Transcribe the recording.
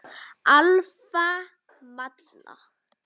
Alfa Malla.